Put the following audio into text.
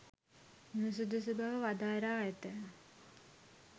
නුසුදුසු බව වදාරා ඇත.